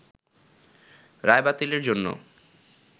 রায় বাতিলের জন্য